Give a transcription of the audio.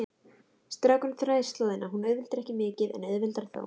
Strákurinn þræðir slóðina, hún auðveldar ekki mikið en auðveldar þó.